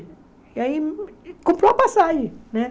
E aí comprou a passagem né.